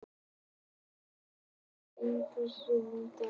Úranía, hvaða sýningar eru í leikhúsinu á þriðjudaginn?